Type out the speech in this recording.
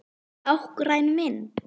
Táknræn mynd.